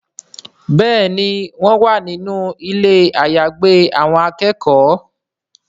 Béèni wón wá nínú Ilé àyágbé àwọn akẹ́kọ̀ọ́.